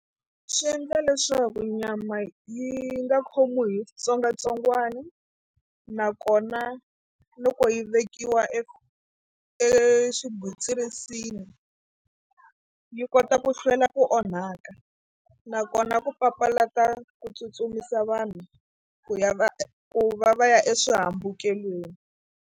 Swi endla leswaku nyama yi nga khomiwi hi xitsongwatsongwana nakona loko yi vekiwa e eswigwitsirisini yi kota ku hlwela ku onhaka nakona ku papalata ku tsutsumisa vanhu ku ya va ku va va ya eswihambukelweni.